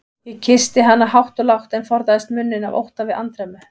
Ég kyssti hana hátt og lágt, en forðaðist munninn af ótta við andremmu.